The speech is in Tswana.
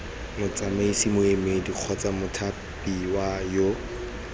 motsamaisi moemedi kgotsa mothapiwa yo